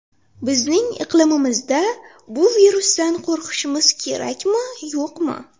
Bizning iqlimimizda bu virusdan qo‘rqishimiz kerakmi, yo‘qmi?